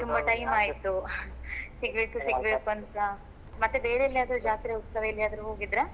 ತುಂಬಾ time ಆಯ್ತು ಸಿಗ್ಬೇಕು ಸಿಗ್ಬೇಕು ಅಂತ ಮತ್ತೆ ಬೇರೆ ಎಲ್ಲಿಯಾದ್ರೂ ಜಾತ್ರೆ ಉತ್ಸವ ಎಲ್ಲಿಯಾದ್ರೂ ಹೋಗಿದ್ರಾ.